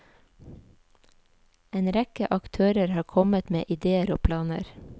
En rekke aktører har kommet med idéer og planer.